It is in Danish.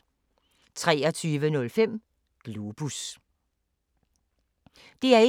DR1